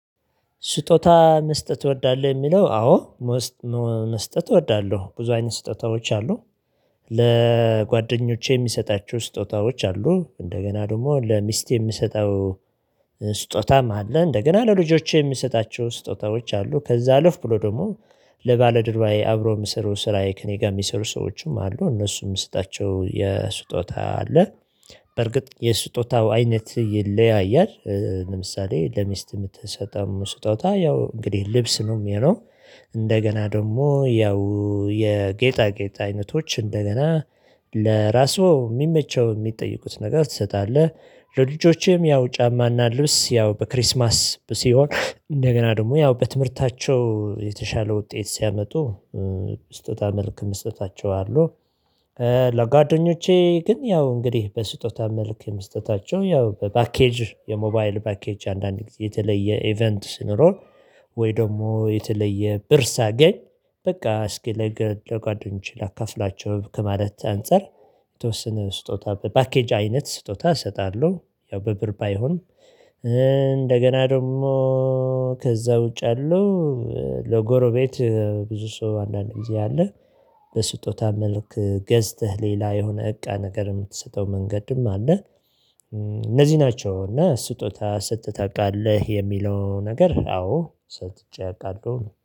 ስጦታ መስጠት እወዳለሁ የሚለው አዎ። መስጠት እወዳለሁ ብዙ አይነት ስጦታዎች አሉ። ለጓደኞቼ የሚሰጣቸው ስጦታዎች አሉ እንደገና ደግሞ ለሚስት የሚሰጠው። ስጦታም አለ እንደገና ለልጆቼ የሚሰጣቸው ስጦታዎች አሉ። ከዛ ልፍ ብሎ ደግሞ ለባልደርባዬ አብሮ የምሰሩ ስራዬ ከእኔ ጋር የሚሰሩ ሰዎችም አሉ እነሱም የምሰጣቸው የስጦታ አለ። በርግጥ የስጦታው አይነት ይለያያል ለምሳሌ ለሚስት የምትሰጠው ስጦታ ያው እንግዲህ ልብስ ነው የሚለው። እንደገና ደግሞ ያው የጌጣ ጌጣ አይነቶች እንደገና ለራሱ የሚመቸው የሚጠይቁት ነገር ትሰጣለህ። ለልጆቼም ያው ጫማና ልብስ ያው በክርስማስ ሲሆን እንደገና ደግሞ ያው በትምህርታቸው የተሻለ ውጤት ሲያመጡ ስጦታ መልክ መስጠታቸው አሉ። ለጓደኞቼ ግን ያው እንግዲህ በስጦታ መልክ የመስጠታቸው ያው በፓኬጅ የሞባይል ባኬጅ አንዳንድ ጊዜ የተለየ ኢቨንት ስኖር ወይ ደግሞ የተለየ ብር ሳገኝ በቃ እስኪ ለገ ጓደኞቼ ላካፍላቸው ከማለት አንፃር። የተወሰነ ስጦታ በፓኬጅ አይነት ስጦታ እሰጣለሁ ያው በብር ባይሆን እንደገና ደግሞ ከዛ ውጭ አለው። ለጎረቤት ብዙ ሰው አንዳንድ ጊዜ አለ በስጦታ መልክ ገዝተህ ሌላ የሆነ እቃ ነገር የምትሰጠው መንገድም አለ። እነዚህ ናቸው እና ስጦታ ሰጥተህ ታውቃለህ የሚለው ነገር አዎ ሰጥቼ አቃድሮኝ